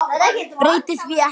Breyti því ekki.